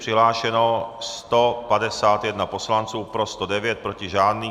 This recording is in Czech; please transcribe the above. Přihlášeno 151 poslanců, pro 109, proti žádný.